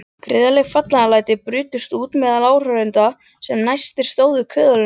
Gríðarleg fagnaðarlæti brutust út meðal áhorfenda sem næstir stóðu köðlunum.